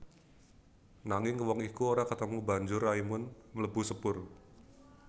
Nanging wong iku ora ketemu banjur Raimund mlebu sepur